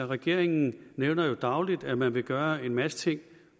regeringen nævner jo dagligt at man vil gøre en masse ting